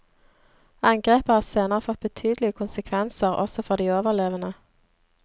Angrepet har senere fått betydelige konsekvenser også for de overlevende.